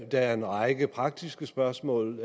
der er en række praktiske spørgsmål